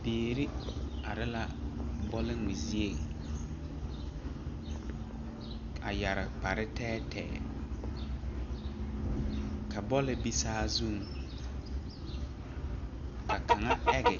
Biire are la bɔlngmɛ zieŋ a yɛre kpare tɛɛtɛɛ ka bɔlle be saazuŋ ka kaŋa age